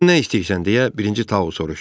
Nə istəyirsən, deyə Birinci Tao soruşdu.